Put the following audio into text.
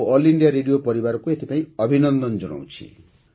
ମୁଁ All India Radio ପରିବାରକୁ ଏଥିପାଇଁ ଅଭିନନ୍ଦନ ଜଣାଉଛି